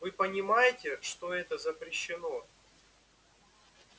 вы понимаете что это запрещено